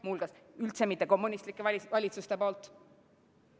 Muuhulgas, seda ei ole teinud üldse mitte kommunistlikud valitsused.